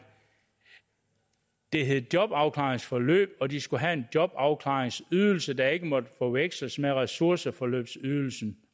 det hed jobafklaringsforløb og at de skulle have en jobafklaringsydelse der ikke måtte forveksles med ressourceforløbsydelsen